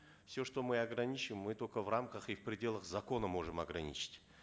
все что мы ограничим мы только в рамках и в пределах закона можем ограничить